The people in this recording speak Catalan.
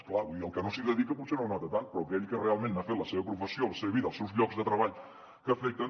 és clar el que no s’hi dedica potser no ho nota tant però aquell que realment n’ha fet la seva professió la seva vida els seus llocs de treball que afecten